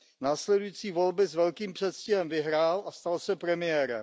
Následující volby s velkým předstihem vyhrál a stal se premiérem.